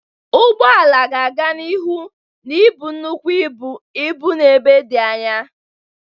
Ụgbọ ala ga-aga n'ihu na-ebu nnukwu ibu ibu n'ebe dị anya.